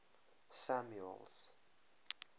samuel's